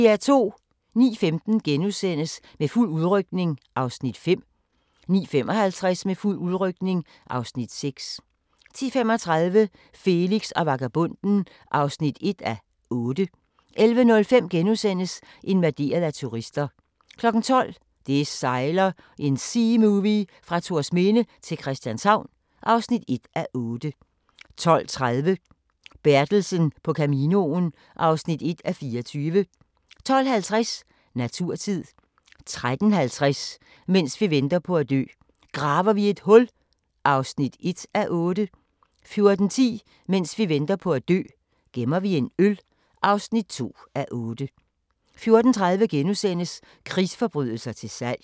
09:15: Med fuld udrykning (Afs. 5)* 09:55: Med fuld udrykning (Afs. 6) 10:35: Felix og vagabonden (1:8) 11:05: Invaderet af turister * 12:00: Det sejler – en seamovie fra Thorsminde til Christianshavn (1:8) 12:30: Bertelsen på Caminoen (1:24) 12:50: Naturtid 13:50: Mens vi venter på at dø – Graver vi et hul (1:8) 14:10: Mens vi venter på at dø - gemmer vi en øl (2:8) 14:30: Krigsforbrydelser til salg *